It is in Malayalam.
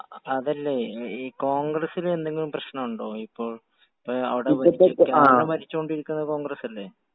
അതല്ലേ, ഈ കോൺഗ്രസ്സിൽ എന്തെങ്കിലും പ്രശ്നമുണ്ടോ ഇപ്പോൾ? ഇപ്പൊ അവിടെ ഭരിച്ചോണ്ടിരിക്കുന്നത് കോൺഗ്രസ് അല്ലേ?